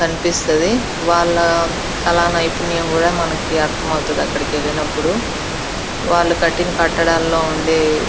కనిపిస్తది వాళ్ళ కల నైపుణ్యం కూడా అర్థం అవుతుంది. అక్కడికి వెళ్ళినప్పుడు వాళ్ళ కట్టిన కట్టడాలో ఉండే --